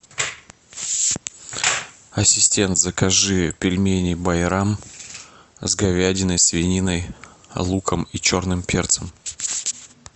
ассистент закажи пельмени байрам с говядиной свининой луком и черным перцем